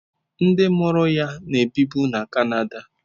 Ndị mụrụ ya na-ebibu na Canada.